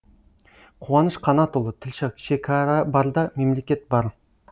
қуаныш қанатұлы тілші шекара барда мемлекет бар